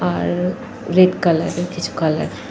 আর red colour এর কিছু colour.